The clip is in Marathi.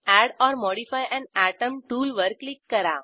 add or modify an atom टूलवर क्लिक करा